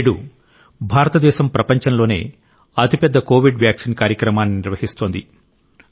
నేడు భారతదేశం ప్రపంచంలోనే అతిపెద్ద కోవిడ్ వ్యాక్సిన్ కార్యక్రమాన్ని నిర్వహిస్తోంది